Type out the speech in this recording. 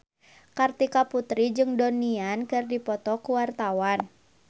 Kartika Putri jeung Donnie Yan keur dipoto ku wartawan